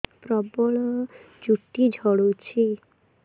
ପ୍ରବଳ ଚୁଟି ଝଡୁଛି